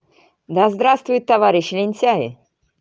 да здравствует товарищ лентяй